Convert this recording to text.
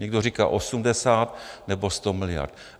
Někdo říká 80 nebo 100 miliard.